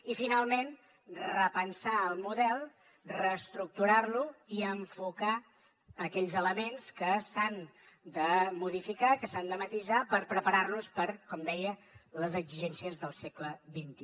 i finalment repensar el model reestructurar lo i enfocar aquells elements que s’han de modificar que s’han de matisar per preparar nos per com deia les exigències del segle xxi